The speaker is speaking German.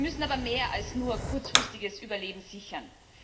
Wir müssen aber mehr als nur kurzfristiges Überleben sichern.